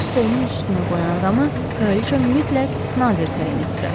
onun stolunun üstünə qoyan adamı kraliça mütləq nazir təyin etdirər.